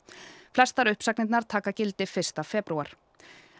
flestar uppsagnirnar taka gildi fyrsta febrúar